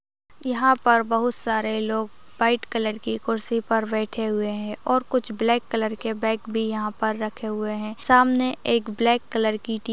यहाँ पर बहुत सारे लोग व्हाइट कलर की कुर्सी पर बैठे हुए हैं और कुछ ब्लैक कलर के बैग भी यहाँ पर रखे हुए हैं। सामने एक ब्लैक कलर की टी --